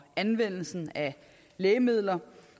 anvendelsen af lægemidler